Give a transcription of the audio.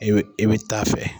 E bɛ e bɛ taa fɛ.